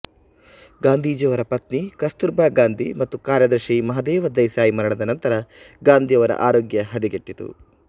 ಗಾಂಧೀಜಿಯವರ ಪತ್ನಿ ಕಸ್ತೂರ್ ಬಾ ಗಾಂಧಿ ಮತ್ತು ಕಾರ್ಯದರ್ಶಿ ಮಹಾದೇವ ದೇಸಾಯಿ ಮರಣದ ನಂತರ ಗಾಂಧಿಯವರ ಆರೋಗ್ಯ ಹದಗೆಟ್ಟಿತು